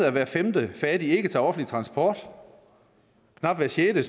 at hver femte fattig ikke tager offentlig transport at knap hver sjette